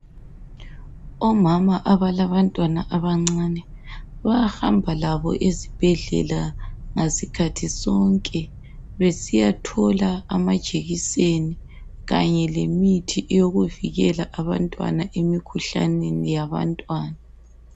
Omama abalabantwana abancane bayahamba labo ezibhedlela ngasikhathi sonke besiyathola amajekiseni kanye lemithi yokuvikela abantwana emikhuhlaneni yabantwana.